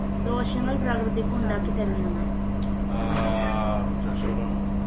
ദോഷങ്ങൾ പ്രകൃതിക്കുണ്ടാക്കിത്തരുന്നുണ്ട്